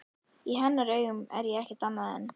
Í hennar augum er ég ekkert annað en.